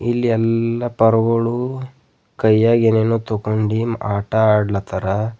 ಈ ಎಲ್ಲ ಪರ್ವಳು ಕೈಯಾಗೆ ಏನೇನೋ ತಗೊಂಡಿ ಆಟ ಆಡ್ಲತ್ತಾರಾ.